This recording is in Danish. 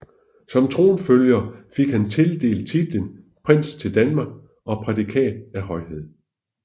Som tronfølger fik han tildelt titlen Prins til Danmark og prædikat af Højhed